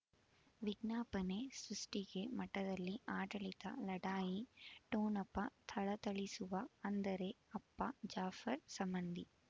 ವಿಜ್ಞಾಪನೆ ಸೃಷ್ಟಿಗೆ ಮಠದಲ್ಲಿ ಆಡಳಿತ ಲಢಾಯಿ ಠೊಣಪ ಥಳಥಳಿಸುವ ಅಂದರೆ ಅಪ್ಪ ಜಾಫರ್ ಸಂಬಂಧಿ